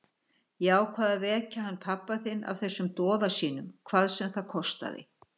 Ég ákvað að vekja hann pabba þinn af þessum doða sínum, hvað sem það kostaði.